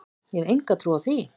Ég hef enga trú á því,